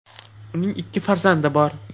Uning ikki farzandi bor.